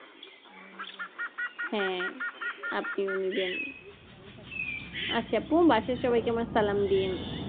হ্যাঁ আপনিও নেবেন আচ্ছা আপু বাসার সবাইকে আমার সালাম দিয়েন?